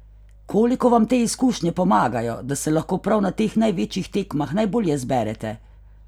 Koliko vam te izkušnje pomagajo, da se lahko prav na teh največjih tekmah najbolje zberete?